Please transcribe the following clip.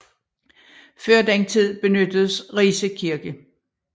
Før den tid benyttedes Rise Kirke